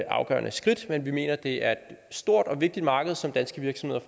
afgørende skridt vi mener at det er et stort og vigtigt marked som danske virksomheder